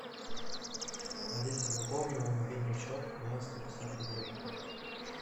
алиса пополни мой мобильный счет на сто пятьдесят рублей